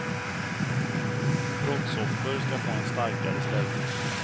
Brottsoffer ska få en starkare ställning.